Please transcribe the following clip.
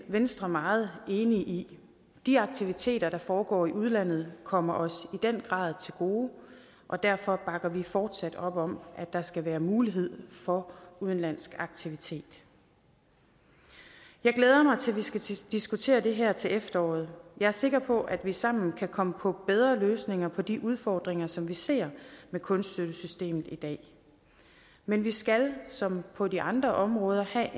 venstre meget enige i de aktiviteter der foregår i udlandet kommer os i den grad til gode og derfor bakker vi fortsat op om at der skal være mulighed for udenlandsk aktivitet jeg glæder mig til at vi skal diskutere det her til efteråret jeg er sikker på at vi sammen kan komme på bedre løsninger på de udfordringer som vi ser med kunststøttesystemet i dag men vi skal som på de andre områder have